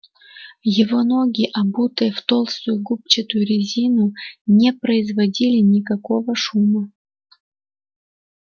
его ноги обутые в толстую губчатую резину не производили никакого шума